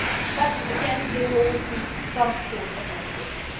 But again, there will always be some sort of mechanism.